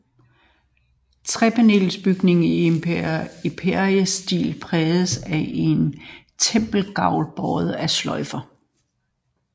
Trepanelbygningen i empirestil præges af en tempelgavl båret af søjler